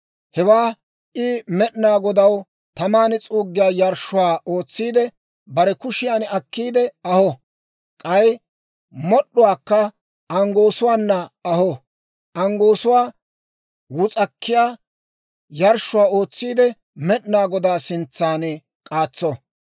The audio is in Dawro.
Hewaa I Med'inaa Godaw taman s'uuggiyaa yarshshuwaa ootsiide, bare kushiyaan akkiide aho; k'ay mod'd'uwaakka anggoosuwaana aho; anggoosuwaa wus'akkiyaa yarshshuwaa ootsiide, Med'inaa Godaa sintsan k'aatso.